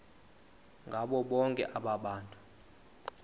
ngabo bonke abantu